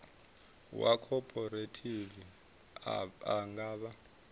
wa khophorethivi a nga fha